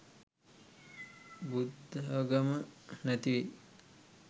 බුද්ධාගම නැතිවෙයි.